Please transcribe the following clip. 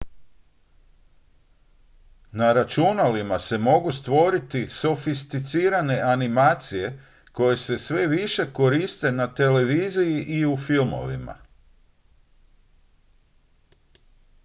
na računalima se mogu stvoriti sofisticirane animacije koje se sve više koriste na televiziji i u filmovima